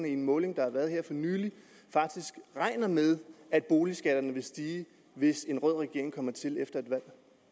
i en måling der har været her for nylig faktisk regner med at boligskatterne vil stige hvis en rød regering kommer til efter et valg